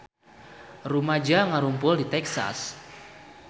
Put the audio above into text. Rumaja ngarumpul di Texas